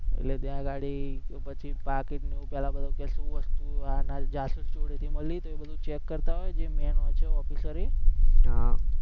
એટલે ત્યાં વળી પછી પાકીટને એવું પહેલા કે શું વસ્તુ, હા ના જાસૂસ જોડેથી મળી તો check કરતા હોય, જે main હોય છે officer હોય ઈ